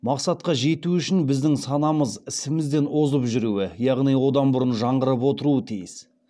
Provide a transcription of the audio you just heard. мақсатқа жету үшін біздің санамыз ісімізден озып жүруі яғни одан бұрын жаңғырып отыруы тиіс